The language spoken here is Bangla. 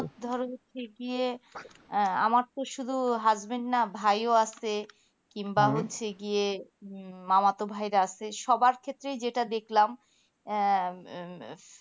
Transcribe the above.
ধরো থেকে আমার তো শুধু husband না ভাই ও আছে কিংবা হচ্ছে গিয়ে মামাতো ভাইরা আছে সবার ক্ষেত্রে যেটা দেকলাম